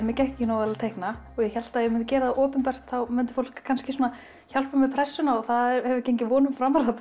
mér gekk ekki nógu vel að teikna og ég hélt að ef ég myndi gera það opinbert þá myndi fólk kannski svona hjálpa með pressuna og það hefur gengið vonum framar það